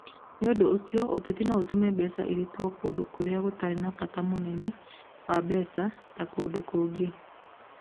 Nĩ ũndũ ũcio, ũteti no ũtũme mbeca irutwo kũndũ kũrĩa gũtarĩ na bata mũnene wa mbeca ta kũndũ kũngĩ.